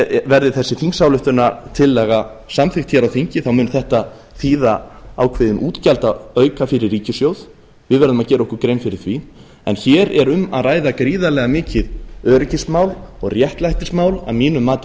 verði þessi þingsályktunartillaga samþykkt hér á þingi mun þetta þýða ákveðinn útgjaldaauka fyrir ríkissjóð við verðum að gera okkur grein fyrir því en hér er um að ræða gríðarlega mikið öryggismál og réttlætismál að mínu mati